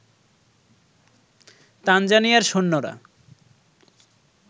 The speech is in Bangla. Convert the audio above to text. তানজানিয়ার সৈন্যরা